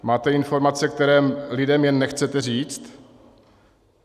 Máte informace, které lidem jen nechcete říct?